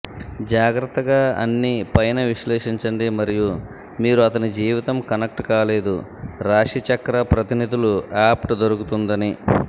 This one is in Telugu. జాగ్రత్తగా అన్ని పైన విశ్లేషించండి మరియు మీరు అతని జీవితం కనెక్ట్ కాలేదు రాశిచక్ర ప్రతినిధులు అవ్ట్ దొరుకుతుందని